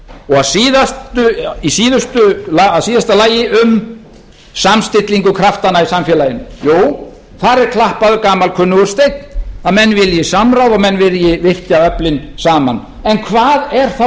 og á landsvísu og í síðasta lagi um samstillingu kraftana í samfélaginu jú þar er klappaður gamalkunnugur steinn að menn vilji samráð og menn vilji virkja öflin saman en hvað er þá